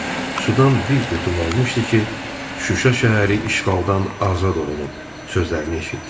Sudan bir qurtum almışdı ki, Şuşa şəhəri işğaldan azad olunub sözlərini eşitdi.